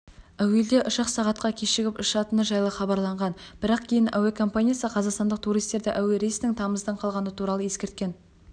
әуелде ұшақ сағатқа кешігіп ұшатыны жайлы хабарланған бірақ кейін әуе компаниясы қазақстандық туристерді әуе рейсінің тамыздың қалғаны туралы ескерткен